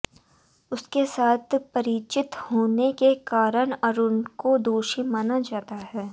उसके साथ परिचित होने के कारण अरुण को दोषी माना जाता है